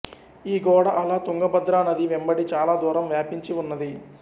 ఈ గోడ అలా తుంగభద్రా నది వెంబడి చాల దూరం వ్యాపించి ఉన్నది